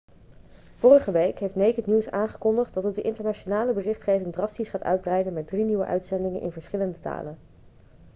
vorige week heeft naked news aangekondigd dat het de internationale berichtgeving drastisch gaat uitbreiden met drie nieuwe uitzendingen in verschillende talen